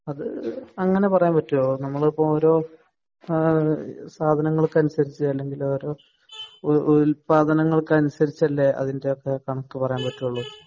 അത് അങ്ങിനെ പറയാൻ പറ്റുവോ നമ്മളിപ്പോ ഒരു ആഹ് സാധനങ്ങൾക്കനുസരിച്ച് അല്ലെങ്കിൽ ഒരു ഉല്പാദനങ്ങൾക്കനുസരിച്ചല്ലേ അതിൻ്റെ ഒക്കെ കണക്ക് പറയാൻ പറ്റോള്ളൂ